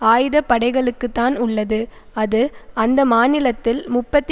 ஆயுத படைகளுக்குத்தான் உள்ளது அது அந்த மாநிலத்தில் முப்பத்தி